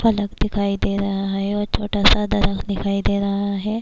فلک دکھائی دے رہا ہے اور چھوٹا سا درخت دکھائی دے رہا ہے-